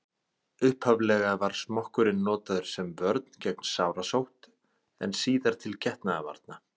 upphaflega var smokkurinn notaður sem vörn gegn sárasótt en síðar til getnaðarvarna